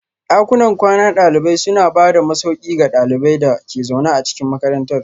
Dakunan kwanan dalibai suna ba da masauki ga ɗaliban da ke zaune a cikin makarantar